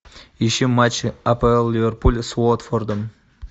ищи матч апл ливерпуль с уотфордом